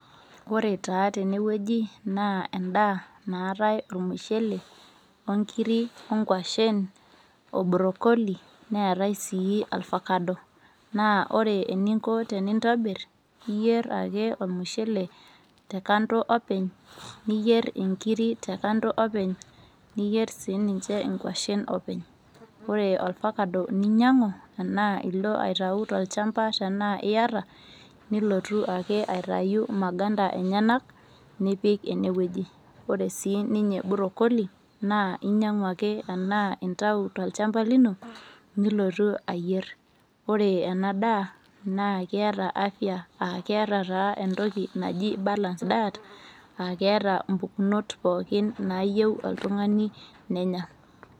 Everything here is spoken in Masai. ore taa tene wueji naa edaa naatae ormushele, onkiri , onkwashen, obrokoli, neetae sii ofakado, naa ore eninko tenintoir naa iyier ake ormushele te kando openy, niyier inkiri te kando openy, niyier sii ninche inkwashen openy. ore orfakado teninyiang'u ashu ilo aitayu tolchampa tenaa iyata, nilootu ake aitayu maganda enyenak nipik ene wueji. ore sii ninye brokoli, intayu ake tolchampa lino nilotu ayier. naa keeta enda daa afia aa keeta taa entoki naji balance diet aa keeta taa mpukunot pookin naayieu oltungani nenya.